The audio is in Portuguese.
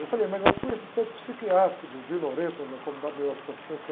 Eu falei, mas eu fui assistente psiquiátrico do, na Comunidade